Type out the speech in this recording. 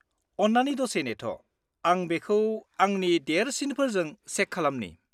-अन्नानै दसे नेथ'। आं बेखौ आंनि देरसिनफोरजों चेक खालामनि।